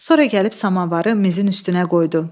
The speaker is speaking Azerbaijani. Sonra gəlib samavarı mizin üstünə qoydu.